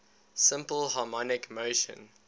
simple harmonic motion